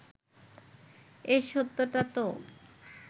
এ সত্যটা তো